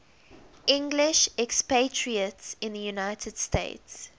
english expatriates in the united states